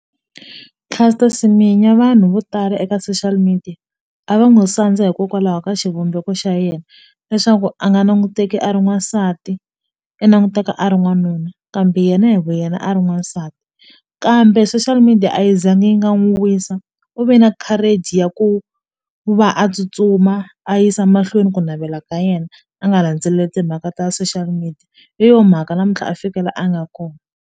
Caster Semenya vanhu vo tala eka social media a va n'wi sandza hikokwalaho ka xivumbeko xa yena leswaku a nga nanguteki a ri n'wansati i nanguteka a ri n'wanuna kambe yena hi vu yena a ri n'wansati kambe social media a yi zangi yi nga n'wu wisa u ve na courage ya ku va a tsutsuma a yisa mahlweni ku navela ka yena a nga landzeleli timhaka ta social media hi yo mhaka namuntlha a fike la a nga .